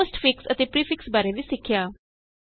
ਅਸੀਂ postfix ਅਤੇ prefix ਬਾਰੇ ਵੀ ਸਿੱਖਿਆ